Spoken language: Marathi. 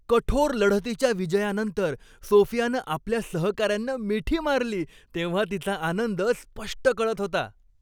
कठोर लढतीच्या विजयानंतर सोफियानं आपल्या सहकाऱ्यांना मिठी मारली तेव्हा तिचा आनंद स्पष्ट कळत होता.